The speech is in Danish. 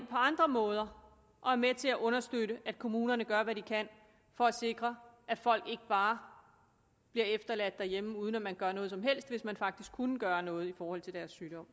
på andre måder går og er med til at understøtte at kommunerne gør hvad de kan for at sikre at folk ikke bare bliver efterladt derhjemme uden at man gør noget som helst hvis man faktisk kunne gøre noget i forhold til deres sygdom